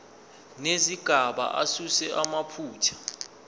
nezigaba asuse amaphutha